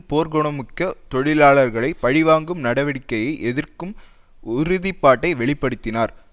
போர்க்குணமிக்க தொழிலாளர்களை பழி வாங்கும் நடவடிக்கையை எதிர்க்கும் உறுதி பாட்டை வெளி படுத்தினார்